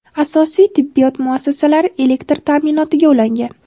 asosiy tibbiyot muassasalari elektr taʼminotiga ulangan;.